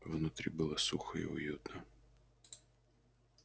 внутри было сухо и уютно